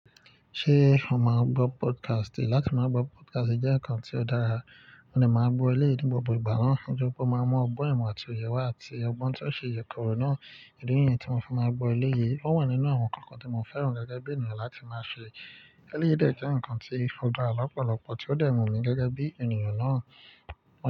Ṣé ó máa gbọ́ podcast? Lá tí máa gbọ́ podcast jẹ́ nǹkan tí ó dára, mo ní máa gbọ́ ẹlẹ́yìí ní gbogbo ìgbà náà, Nitoripe máa n mu ọgbọ́n ìmọ̀ àti òye wa àti ọgbọ́n tí ó ṣe ìyẹ̀koro náà elèyíi tí mo fi máa gbọ́ eleyii, ó wà nínú àwọn ǹkan kan tí mo fẹ́ràn gẹ́gẹ́ bí ènìyàn láti máa ṣe. Eleyii dẹ jẹ́ ǹkan tí ó da lọ̀pọ̀lọpọ̀ tí ó dẹ́ wu n mi gẹ́gẹ́ bí ènìyàn náà.